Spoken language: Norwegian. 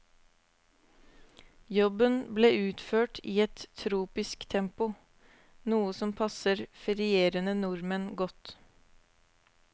Jobben ble utført i et tropisk tempo, noe som passer ferierende nordmenn godt.